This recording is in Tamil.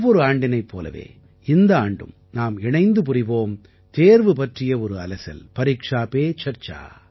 ஒவ்வொரு ஆண்டினைப் போலவே இந்த ஆண்டும் நாம் இணைந்து தேர்வு பற்றிய ஒரு அலசல் புரிவோம்